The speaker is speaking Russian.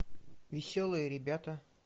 веселые ребята